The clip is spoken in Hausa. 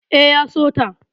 E, ya so ta.